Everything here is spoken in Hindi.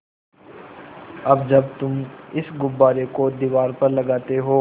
अब जब तुम इस गुब्बारे को दीवार पर लगाते हो